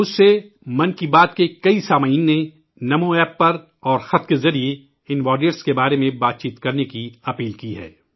مجھ سے من کی بات کے کئی سامعین نے نمو ایپ پر اور خط کے ذریعے ، ان جانبازوں کے بارے میں بات کرنے کا اصرار کیا ہے